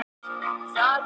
Hvað er ofsatrú?